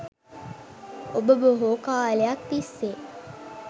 ඔබ බොහෝ කාලයක් තිස්සේ